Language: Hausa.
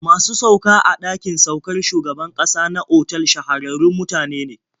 Masu sauka a ɗakin saukar shugaban ƙasa na otal shahararrun mutane ne.